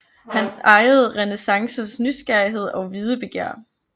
Han ejede renæssancens nysgerrighed og videbegær